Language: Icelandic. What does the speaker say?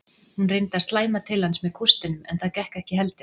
Hún reyndi að slæma til hans með kústinum en það gekk ekki heldur.